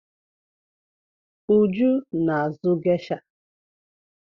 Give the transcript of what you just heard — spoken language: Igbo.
Uju na-azụ gesha.